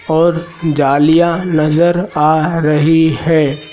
और जालीयां नजर आ रही है।